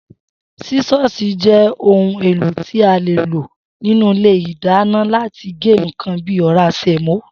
Sísó̩ò̩sì je̩ ohun èlò tí a lè lò nínú ilé ìdáná láti gé nǹkan bí i ò̩rá sè̩mó